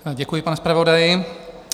Děkuji, pane zpravodaji.